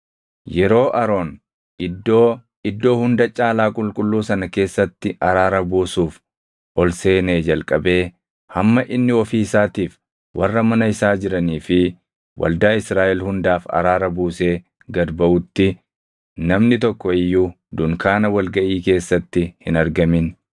Yeroo Aroon Iddoo Iddoo Hunda Caalaa Qulqulluu sana keessatti araara buusuuf ol seenee jalqabee hamma inni ofii isaatiif, warra mana isaa jiranii fi waldaa Israaʼel hundaaf araara buusee gad baʼutti namni tokko iyyuu dunkaana wal gaʼii keessatti hin argamin.